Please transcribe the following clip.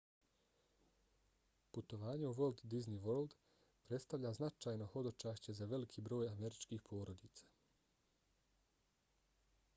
putovanje u walt disney world predstavlja značajno hodočašće za veliki broj američkih porodica